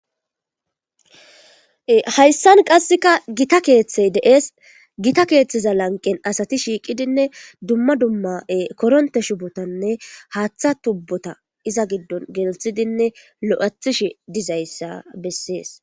hayssan qasseka gita keeththey de7ees gita keeththeza lanqen asati shiiqidinne dumma dumma7e koronte shubotanne haaththa tubbota iza giddon geltsidinne lo7athish dizayssa bessees